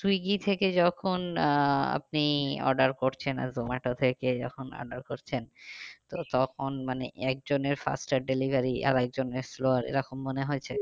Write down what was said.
Swiggy থেকে যখন আহ আপনি order করছেন আর জোমাটো থেকে যখন order করছেন তো তখন মানে একজনের fastest delivery আর একজনের slower এরকম মনে হয়েছে?